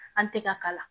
An tɛ ka kala